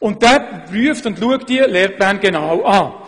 Der Erziehungsdirektor betrachtet und prüft diese Lehrpläne genau.